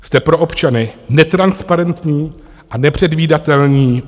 Jste pro občany netransparentní a nepředvídatelní.